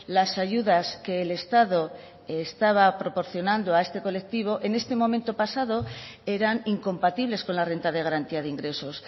las ayudas que el estado estaba proporcionando a este colectivo en este momento pasado eran incompatibles con la renta de garantía de ingresos